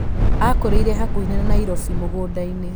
Aakũrĩire hakuhĩ na Nairobi mũgũnda-inĩ.